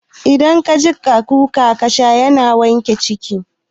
Idan ka jiƙa kuka fara kasha yana wanke ciki